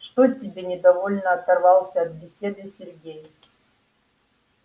что тебе недовольно оторвался от беседы сергей